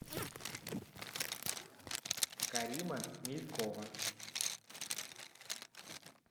карима мелькова